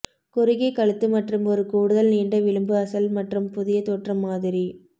குறுகிய கழுத்து மற்றும் ஒரு கூடுதல் நீண்ட விளிம்பு அசல் மற்றும் புதிய தோற்றம் மாதிரி